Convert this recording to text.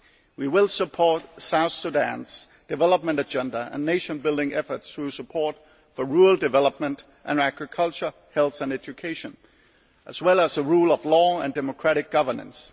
We will support South Sudan's development agenda and nation building efforts through support for rural development and agriculture, health and education, as well as the rule of law and democratic governance.